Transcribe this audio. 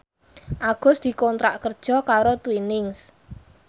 Agus dikontrak kerja karo Twinings